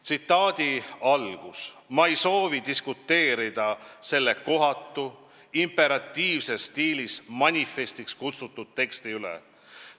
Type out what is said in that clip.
Tsitaadi algus on selline: "Ma ei soovi diskuteerida selle kohatu, imperatiivses stiilis manifestiks kutsutud teksti üle.